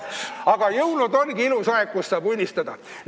Aga jõulud ongi ilus aeg, kus saab unistada.